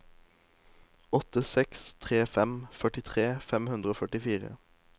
åtte seks tre fem førtitre fem hundre og førtifire